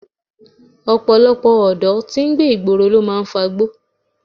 Ọ̀pọ̀lọpọ̀ ọ̀dọ́ tí ń gbé ìgboro ló máa ń fagbó